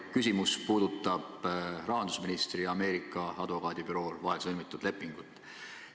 Minu küsimus puudutab rahandusministri ja Ameerika advokaadibüroo vahel sõlmitud lepingut.